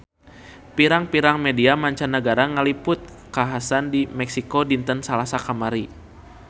Pirang-pirang media mancanagara ngaliput kakhasan di Meksiko dinten Salasa kamari